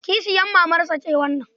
Kishiyar mamarsa ce wannan.